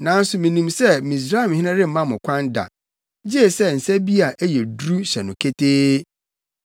Nanso minim sɛ Misraimhene remma mo kwan da, gye sɛ nsa bi a ɛyɛ duru hyɛ no ketee.